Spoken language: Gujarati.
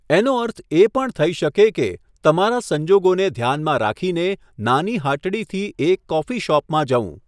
એનો અર્થ એ પણ થઈ શકે કે, તમારા સંજોગોને ધ્યાનમાં રાખીને, નાની હાટડીથી એક કોફી શોપમાં જવું.